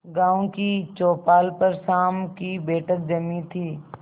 गांव की चौपाल पर शाम की बैठक जमी थी